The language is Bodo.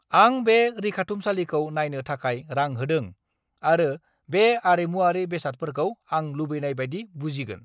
आं बे रैखाथुमसालिखौ नायनो थाखाय रां होदों, आरो बे आरिमुआरि बेसादफोरखौ आं लुबैनाय बायदि बुजिगोन।